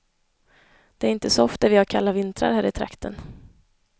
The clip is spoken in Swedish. Det är inte så ofta vi har kalla vintrar här i trakten.